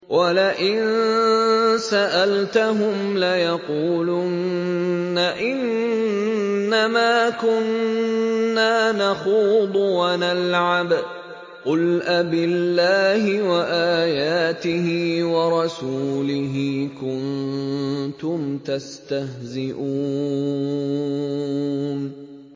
وَلَئِن سَأَلْتَهُمْ لَيَقُولُنَّ إِنَّمَا كُنَّا نَخُوضُ وَنَلْعَبُ ۚ قُلْ أَبِاللَّهِ وَآيَاتِهِ وَرَسُولِهِ كُنتُمْ تَسْتَهْزِئُونَ